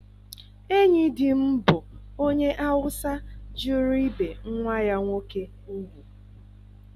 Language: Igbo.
Enyi di m bụ onye Awụsa jụrụ ibe nwa ya nwoke ugwu.